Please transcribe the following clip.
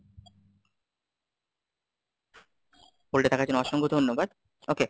hold এ থাকার জন্য অসংখ্য ধন্যবাদ, okay,